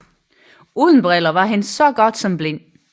Uden briller var han så godt som blind